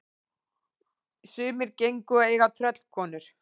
Sumir gengu að eiga tröllkonur.